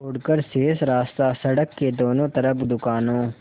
छोड़कर शेष रास्ता सड़क के दोनों तरफ़ दुकानों